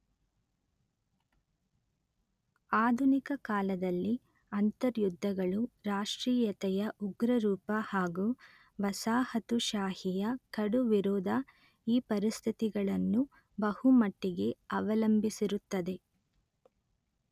ಆಧುನಿಕ ಕಾಲದಲ್ಲಿ ಅಂತರ್ಯುದ್ಧಗಳು ರಾಷ್ಟ್ರೀಯತೆಯ ಉಗ್ರರೂಪ ಹಾಗೂ ವಸಾಹತುಶಾಹಿಯ ಕಡು ವಿರೋಧ ಈ ಪರಿಸ್ಥಿತಿಗಳನ್ನು ಬಹುಮಟ್ಟಿಗೆ ಅವಲಂಬಿಸಿರುತ್ತದೆ